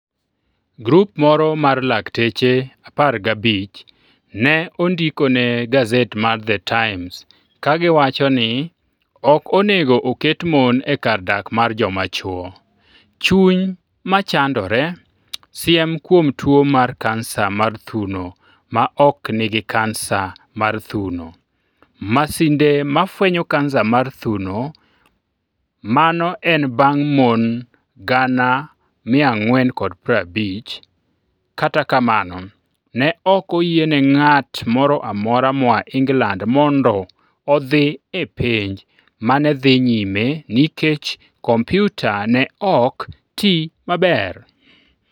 Grup moro mar lakteche apar gabich ne ondiko ne gaset mar The Times ka giwacho ni ok onego oket mon e kar dak mar joma chwo. 'chuny ma chandore' siem kuom tuo mar kansa mar thuno ma ok nigi kansa mar thuno Masinde ma fwenyo kansa mar thuno Mano en bang' mon 450,000 Kata kamano, ne ok oyiene ng'at moro amora moa England mondo odhi e penj ma ne dhi nyime nikech kompyuta ne ok ti maber.